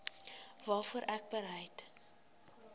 waarvoor ek bereid